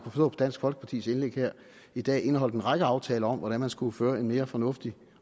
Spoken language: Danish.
på dansk folkepartis indlæg her i dag indeholder en række aftaler om hvordan man skal føre en mere fornuftig